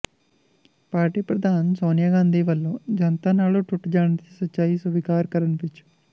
party ਪ੍ਰਧਾਨ ਸੋਨੀਆ ਗਾਂਧੀ ਵੱਲੋਂ ਜਨਤਾ ਨਾਲੋਂ ਟੁੱਟ ਜਾਣ ਦੀ ਸੱਚਾਈ ਸਵੀਕਾਰ ਕਰਨ ਪਿੱਛ